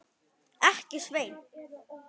Ekki, Sveinn.